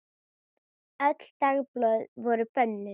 Öll dagblöð voru bönnuð.